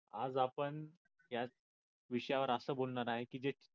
आज आपण या विषयावर असं बोलणार आहे की जे